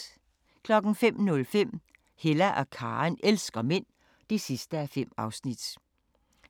05:05: Hella og Karen elsker mænd (5:5)